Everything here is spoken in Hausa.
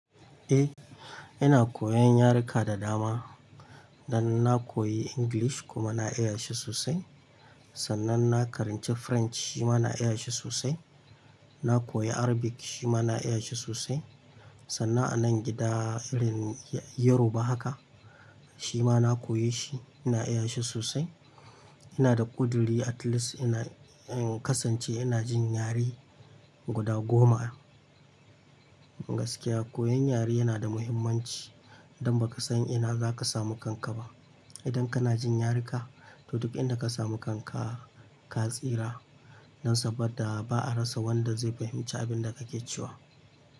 Eh, ina koyan yaruka da dama. Dan na koyi English kuma na iya shi sosai. Sannan na karanci French shima na iya shi sosai. Na koyi Arabic shima na iya shi sosai. Sannan a nan gida irin Yoruba haka shima na koyi shi, ina iya shi sosai. Ina da ƙuduri at least in kasance ina jin yare guda goma. Gaskiya koyan yare yana da muhimmanci don baka san ina zaka samu kanka ba. Idan kana jin yaruka, to duk inda ka samu kanka ka tsira. Nan saboda ba a rasa wanda zai fahimci abin da kake cewa.